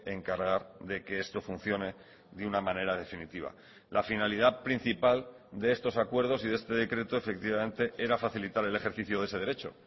encargar de que esto funcione de una manera definitiva la finalidad principal de estos acuerdos y de este decreto efectivamente era facilitar el ejercicio de ese derecho